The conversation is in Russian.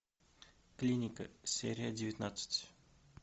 клиника серия девятнадцать